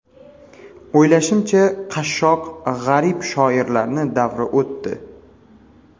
O‘ylashimcha, qashshoq, g‘arib shoirlarni davri o‘tdi.